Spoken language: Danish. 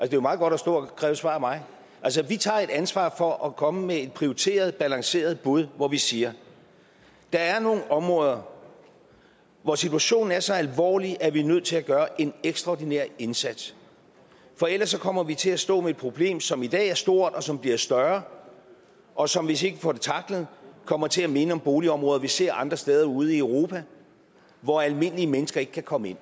det er meget godt at stå og kræve et svar af mig vi tager ansvaret for at komme med et prioriteret balanceret bud hvor vi siger der er nogle områder hvor situationen er så alvorlig at vi er nødt til at gøre en ekstraordinær indsats for ellers kommer vi til at stå med et problem som i dag er stort som bliver større og som hvis vi ikke får det tacklet kommer til at minde om boligområder vi ser andre steder ude i europa hvor almindelige mennesker ikke kan komme ind